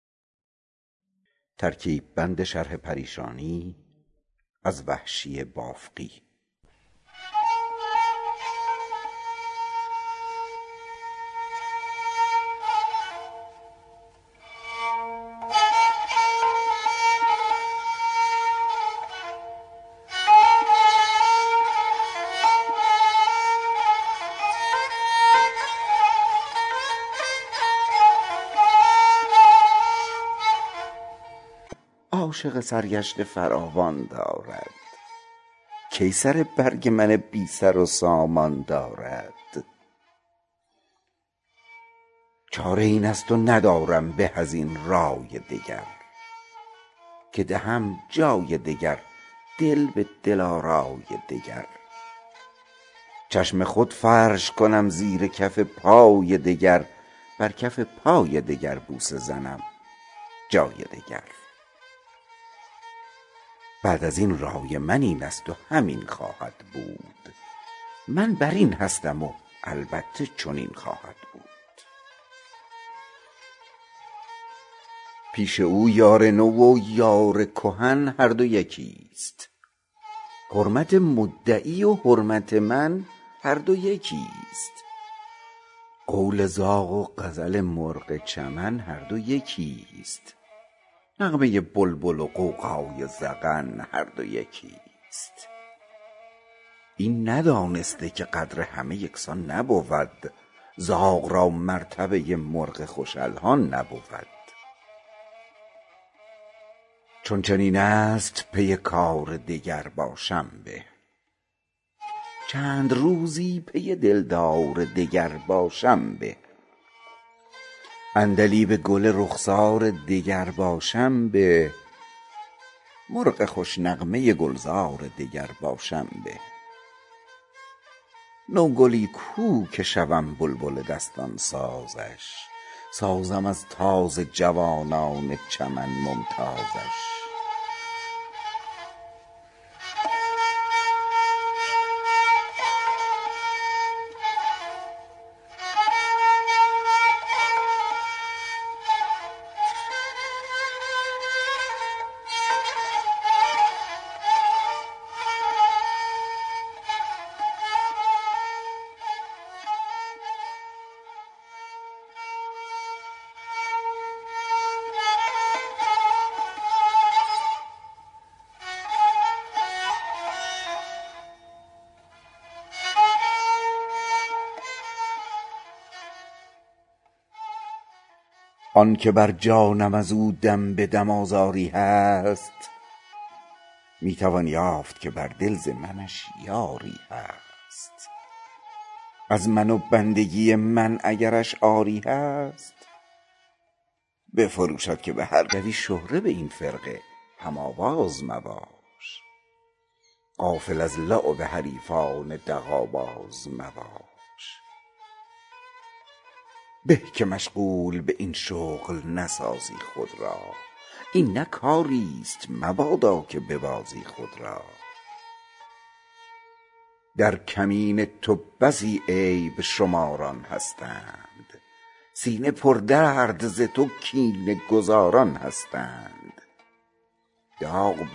دوستان شرح پریشانی من گوش کنید داستان غم پنهانی من گوش کنید قصه بی سر و سامانی من گوش کنید گفت وگوی من و حیرانی من گوش کنید شرح این آتش جان سوز نگفتن تا کی سوختم سوختم این راز نهفتن تا کی روزگاری من و دل ساکن کویی بودیم ساکن کوی بت عربده جویی بودیم عقل و دین باخته دیوانه رویی بودیم بسته سلسله سلسله مویی بودیم کس در آن سلسله غیر از من و دل بند نبود یک گرفتار از این جمله که هستند نبود نرگس غمزه زنش این همه بیمار نداشت سنبل پر شکنش هیچ گرفتار نداشت این همه مشتری و گرمی بازار نداشت یوسفی بود ولی هیچ خریدار نداشت اول آن کس که خریدار شدش من بودم باعث گرمی بازار شدش من بودم عشق من شد سبب خوبی و رعنایی او داد رسوایی من شهرت زیبایی او بس که دادم همه جا شرح دلآرایی او شهر پر گشت ز غوغای تماشایی او این زمان عاشق سرگشته فراوان دارد کی سر برگ من بی سر و سامان دارد چاره این است و ندارم به از این رأی دگر که دهم جای دگر دل به دل آرای دگر چشم خود فرش کنم زیر کف پای دگر بر کف پای دگر بوسه زنم جای دگر بعد از این رای من این است و همین خواهد بود من بر این هستم و البته چنین خواهد بود پیش او یار نو و یار کهن هر دو یکی ست حرمت مدعی و حرمت من هر دو یکی ست قول زاغ و غزل مرغ چمن هر دو یکی ست نغمه بلبل و غوغای زغن هر دو یکی ست این ندانسته که قدر همه یکسان نبود زاغ را مرتبه مرغ خوش الحان نبود چون چنین است پی کار دگر باشم به چند روزی پی دلدار دگر باشم به عندلیب گل رخسار دگر باشم به مرغ خوش نغمه گلزار دگر باشم به نوگلی کو که شوم بلبل دستان سازش سازم از تازه جوانان چمن ممتازش آن که بر جانم از او دم به دم آزاری هست می توان یافت که بر دل ز منش باری هست از من و بندگی من اگرش عاری هست بفروشد که به هر گوشه خریداری هست به وفاداری من نیست در این شهر کسی بنده ای همچو مرا هست خریدار بسی مدتی در ره عشق تو دویدیم بس است راه صد بادیه درد بریدیم بس است قدم از راه طلب باز کشیدیم بس است اول و آخر این مرحله دیدیم بس است بعد از این ما و سر کوی دل آرای دگر با غزالی به غزل خوانی و غوغای دگر تو مپندار که مهر از دل محزون نرود آتش عشق به جان افتد و بیرون نرود وین محبت به صد افسانه و افسون نرود چه گمان غلط است این برود چون نرود چند کس از تو و یاران تو آزرده شود دوزخ از سردی این طایفه افسرده شود ای پسر چند به کام دگرانت بینم سرخوش و مست ز جام دگرانت بینم مایه عیش مدام دگرانت بینم ساقی مجلس عام دگرانت بینم تو چه دانی که شدی یار چه بی باکی چند چه هوس ها که ندارند هوسناکی چند یار این طایفه خانه برانداز مباش از تو حیف است به این طایفه دمساز مباش می شوی شهره به این فرقه هم آواز مباش غافل از لعب حریفان دغل باز مباش به که مشغول به این شغل نسازی خود را این نه کاری ست مبادا که ببازی خود را در کمین تو بسی عیب شماران هستند سینه پردرد ز تو کینه گذاران هستند داغ بر سینه ز تو سینه فکاران هستند غرض این است که در قصد تو یاران هستند باش مردانه که ناگاه قفایی نخوری واقف کشتی خود باش که پایی نخوری گر چه از خاطر وحشی هوس روی تو رفت وز دلش آرزوی قامت دلجوی تو رفت شد دل آزرده و آزرده دل از کوی تو رفت با دل پر گله از ناخوشی خوی تو رفت حاش لله که وفای تو فراموش کند سخن مصلحت آمیز کسان گوش کند